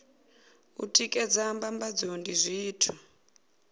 u tikedza mbambadzo ndi zwithu